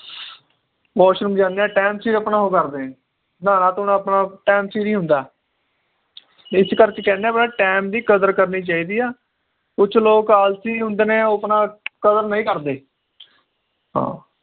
washroom ਜਾਂਨੇ ਆ time ਸਿਰ ਆਪਣਾ ਉਹ ਕਰਦੇ ਆ ਜੀ ਨ੍ਹਾਨਾ ਧੋਣਾ ਆਪਣਾ time ਸਿਰ ਹੀ ਹੁੰਦਾ ਏ ਇਸ ਕਰਕੇ ਕਹਿੰਦੇ ਵੀ ਆਪਣਾ time ਦੀ ਕਦਰ ਕਰਨੀ ਚਾਹੀਦੀ ਆ ਕੁਛ ਲੋਗ ਆਲਸੀ ਹੁੰਦੇ ਨੇ ਉਹ ਆਪਣਾ ਕਦਰ ਨਹੀਂ ਕਰਦੇ ਹਾਂ